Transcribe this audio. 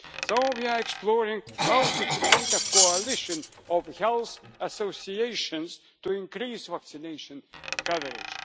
So we are exploring how to create a coalition of health associations to increase vaccination coverage.